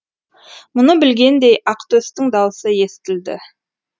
мұны білгендей ақтөстің даусы естілді